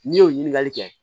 N'i y'o ɲininkali kɛ